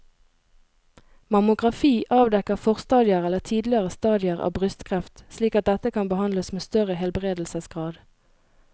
Mammografi avdekker forstadier eller tidlige stadier av brystkreft slik at dette kan behandles med større helbredelsesgrad.